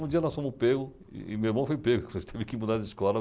Um dia nós fomos pegos e meu irmão foi pego, tive que mudar de escola.